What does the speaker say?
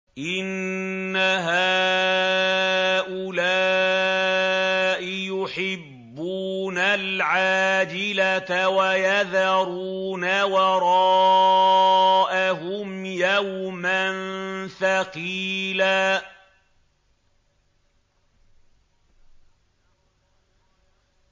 إِنَّ هَٰؤُلَاءِ يُحِبُّونَ الْعَاجِلَةَ وَيَذَرُونَ وَرَاءَهُمْ يَوْمًا ثَقِيلًا